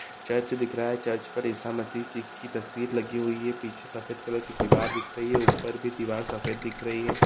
चर्च दिख रहा है चर्च पर इसा मसीह जी की तस्वीर लगी हुई है पीछे सफेद दीवार दिख रही है ऊपर भी दीवार सफेद दिख रही है।